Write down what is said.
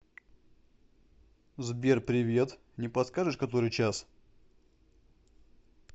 сбер привет не подскажешь который час